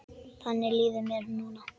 Þannig líður mér núna.